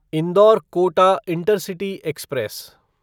indoor Kota intercity express